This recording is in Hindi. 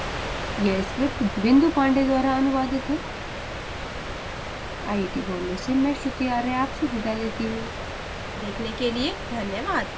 यह script बिंदु पांडेय द्वारा अनुवादित है आई आई टी बॉम्बे से मैं श्रुति आर्य आपसे विदा लेती हूँ देखने के लिए धन्यवाद